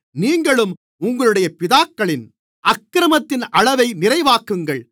நீங்களும் உங்களுடைய பிதாக்களின் அக்கிரமத்தின் அளவை நிறைவாக்குங்கள்